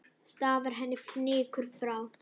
Stafar henni fnykur frá.